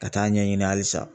Ka taa ɲɛɲini halisa